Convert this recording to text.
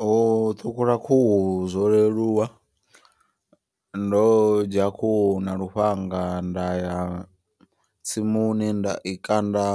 Ho ṱhukhula khuhu zwo leluwa ndo dzhia khuhu na lufhanga. Nda ya tsimuni nda i kanda